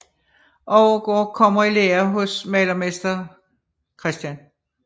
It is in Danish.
Overgaard kommer i lære hos malermester Chr